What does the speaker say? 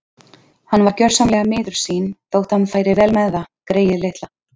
Hann var gjörsamlega miður sín þótt hann færi vel með það, greyið litla.